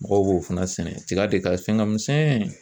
Mɔgɔw b'o fana sɛnɛ tiga de ka fɛn ka misɛn.